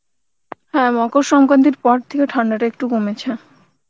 হ্যাঁ মকর সংক্রান্তির পর থেকে ঠান্ডা টা একটু কমেছে